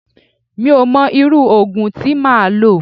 Mi ò mọ irú òògùn tí máa lò.